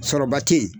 Sɔrɔba tɛ yen